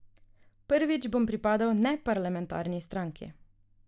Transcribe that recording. Prvič bom pripadal neparlamentarni stranki.